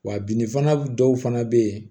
Wa bin fana dɔw fana bɛ yen